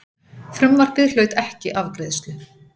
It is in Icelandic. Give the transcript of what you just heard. Frumvarpið hlaut ekki afgreiðslu.